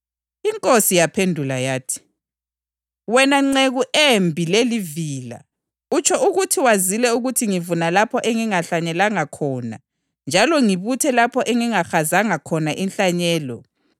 Inkosi yaphendula yathi, ‘Wena nceku embi lelivila! Utsho ukuthi wazile ukuthi ngivuna lapho engingahlanyelanga khona njalo ngibuthe lapho engingahazanga khona inhlanyelo?